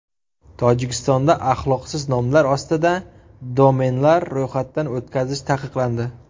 Tojikistonda axloqsiz nomlar ostida domenlar ro‘yxatdan o‘tkazish taqiqlandi.